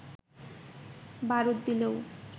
বারুদ দিলেও